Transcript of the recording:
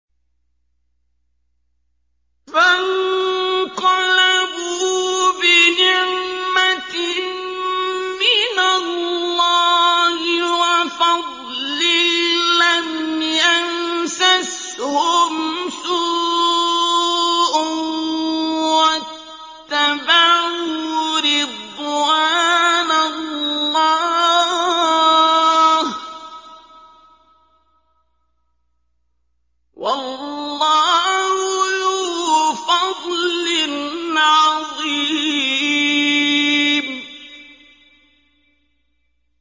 فَانقَلَبُوا بِنِعْمَةٍ مِّنَ اللَّهِ وَفَضْلٍ لَّمْ يَمْسَسْهُمْ سُوءٌ وَاتَّبَعُوا رِضْوَانَ اللَّهِ ۗ وَاللَّهُ ذُو فَضْلٍ عَظِيمٍ